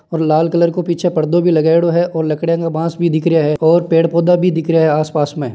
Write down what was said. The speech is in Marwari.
लाल कलर के पीछे परदा भी लगायेडा हैऔर लकड़े और बास भी दिख रहा हैऔर पेड़ पोधा लगायेडा है आसपास में।